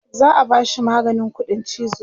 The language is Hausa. za'a bashi maganin ƙuɗin chizo